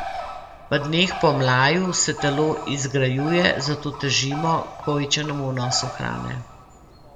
V dneh po mlaju se telo izgrajuje, zato težimo k povečanemu vnosu hrane.